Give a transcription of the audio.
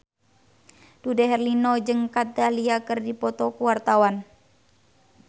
Dude Herlino jeung Kat Dahlia keur dipoto ku wartawan